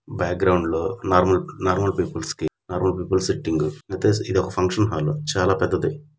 ఎంటి గా ఉంది అఫీషియల్ సిట్టింగ్ బ్యాక్ గ్రౌండ్ లో నార్మల్ నార్మల్ పీపుల్స్ కి--